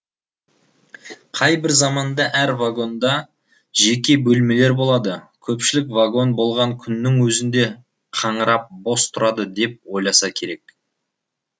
қай бір заманда әр вагонда жеке бөлмелер болады көпшілік вагон болған күннің өзінде қаңырап бос тұрады деп ойласа керек